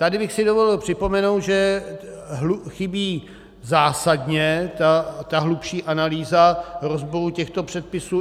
Tady bych si dovolil připomenout, že chybí zásadně ta hlubší analýza rozboru těchto předpisů.